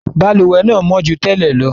Balùwẹ́ náà mọ́ ju tẹ́lẹ̀ lọ.